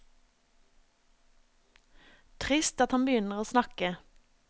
Trist at han begynner å snakke.